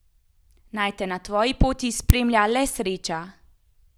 Naj te na tvoji poti spremlja le sreča!